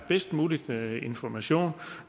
bedst mulige information